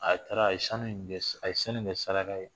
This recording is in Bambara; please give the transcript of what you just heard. A taara a ye sanu in kɛ a ye san in kɛ saraka ye